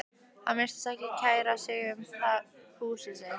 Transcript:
Hann virtist ekki kæra sig mikið um húsið sitt.